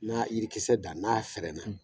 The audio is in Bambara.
N'a ye yirikisɛ dan n'a fɛrɛna